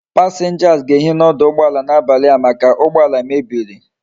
Passengers ga ehi na oduugboala na abali a make ugboala mebiri